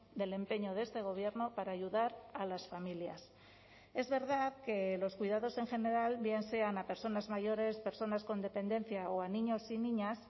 del empeño de este gobierno para ayudar a las familias es verdad que los cuidados en general bien sean a personas mayores personas con dependencia o a niños y niñas